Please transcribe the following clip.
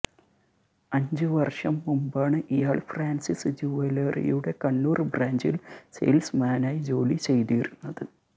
അഞ്ച് വർഷം മുമ്പാണ് ഇയാൾ ഫ്രാൻസിസ് ജൂവലറിയുടെ കണ്ണൂർ ബ്രാഞ്ചിൽ സെയിൽസ് മാനായി ജോലി ചെയ്തിരുന്നത്